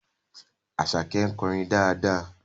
Àṣàkẹ́ ń kọrin dáadáa